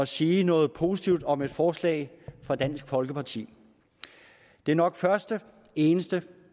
sige noget positivt om et forslag fra dansk folkeparti det er nok første eneste